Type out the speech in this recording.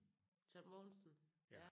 John Mogensen ja?